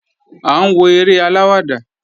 À ń wo eré aláwàdà